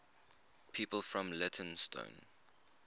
people from leytonstone